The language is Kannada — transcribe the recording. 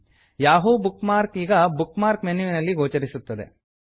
ಯಾಹೂ ಬುಕ್ ಮಾರ್ಕ್ ಈಗ ಬುಕ್ ಮಾರ್ಕ್ ಮೆನ್ಯುವಿನಲ್ಲಿ ಗೋಚರಿಸುತ್ತದೆ